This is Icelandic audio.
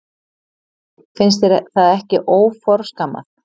Finnst þér það ekki óforskammað?